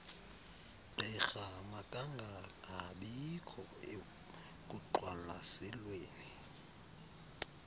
gqirha makangangabikho ekuqwalaselweni